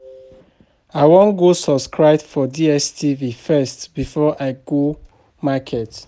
I wan go subscribe for DStv first before I go market